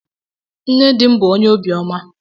Nne dị m bú onye obi ọma